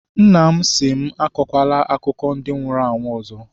Nna m sị m, akọla akụkọ ndị nwụrụ anwụ ọzọ!